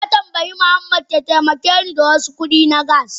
Na tambayi Muhammad ya taimake ni da wasu kudi na gas.